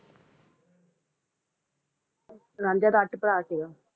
ਰਾਂਝਾ ਤਾ ਅਠ ਪਰ ਸੀਗਾ